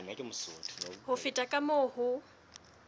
ho feta ka moo ho